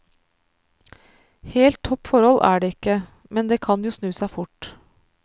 Helt topp forhold er det ikke, men det kan jo snu seg fort.